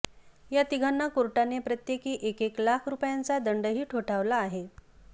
या तिघांना कोर्टाने प्रत्येकी एकेक लाख रुपयांचा दंडही ठोठावला आहे